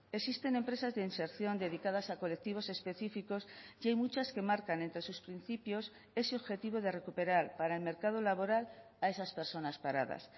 existen empresas de inserción dedicadas a colectivos específicos y hay muchas que marcan entre sus principios ese objetivo de recuperar para el mercado laboral a esas personas paradas